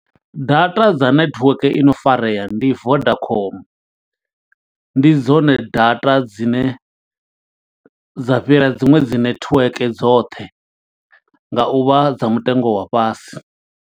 Data dza netiweke i no farea ndi Vodacom, ndi dzone data dzine dza fhira dziṅwe dzi netiweke dzoṱhe, nga u vha dza mutengo wa fhasi.